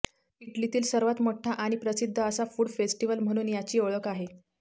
इटलीतील सर्वात मोठा आणि प्रसिद्ध असा फूड फेस्टिव्हल म्हणून याची ओळख आहे